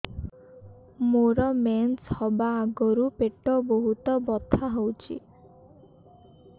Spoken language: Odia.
ମୋର ମେନ୍ସେସ ହବା ଆଗରୁ ପେଟ ବହୁତ ବଥା ହଉଚି